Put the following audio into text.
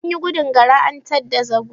Anyi gudun Gara an tadda zago.